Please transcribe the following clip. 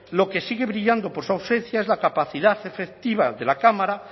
lo que sigue brillado por su ausencia es la capacidad efectiva de la cámara